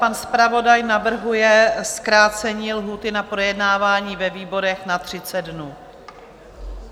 Pan zpravodaj navrhuje zkrácení lhůty na projednávání ve výborech na 30 dnů.